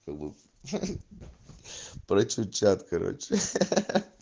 чтобы прочичат короче